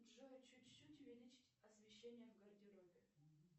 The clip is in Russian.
джой чуть чуть увеличить освещение в гардеробе